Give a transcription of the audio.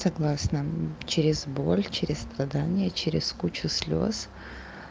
согласно через боль через страдание через куча слёз